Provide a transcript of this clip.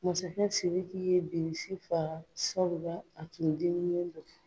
Masakɛ sidiki ye bilisi faga sabula a tun diminen don